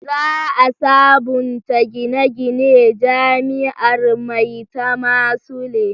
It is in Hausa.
Za a sabunta gine-ginen jami'ar Maitama Sule